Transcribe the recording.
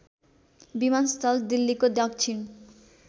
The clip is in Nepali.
विमानस्थल दिल्लीको दक्षिण